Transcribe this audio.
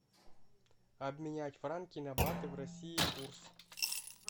обменять франки на баты в россии курс